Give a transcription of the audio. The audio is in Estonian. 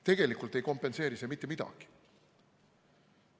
Tegelikult ei kompenseeri see mitte midagi.